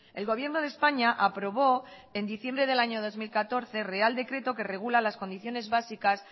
el gobierno de españa aprobó en diciembre del año dos mil catorce real decreto que regula las condiciones básicas